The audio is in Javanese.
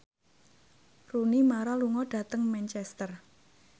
Rooney Mara lunga dhateng Manchester